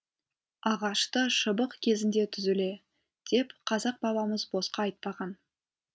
ағашты шыбық кезінде түзуле деп қазақ бабамыз босқа айтпаған